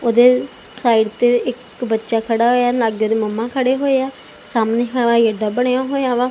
ਉਦੇ ਸਾਈਡ ਤੇ ਇੱਕ ਬੱਚਾ ਖੜਾ ਹੋਇਆ ਲਾਗੇ ਉਦੇ ਮਮਾ ਖੜੇ ਹੋਏ ਆ ਸਾਹਮਣੇ ਹਵਾਈ ਅੱਡਾ ਬਣਿਆ ਹੋਇਆ ਵਾ।